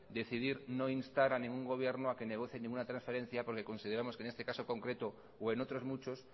decidir no instar a ningún gobierno a que negocie ninguna transferencia porque consideramos que en este caso concreto o en otros muchos